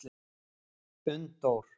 Unndór